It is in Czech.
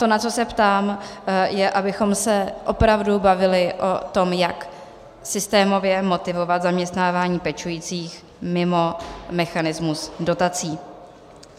To, na co se ptám, je, abychom se opravdu bavili o tom, jak systémově motivovat zaměstnávání pečujících mimo mechanismus dotací.